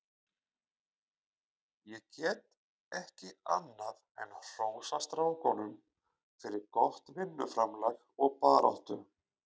Ég get ekki annað en hrósað strákunum fyrir gott vinnuframlag og baráttu.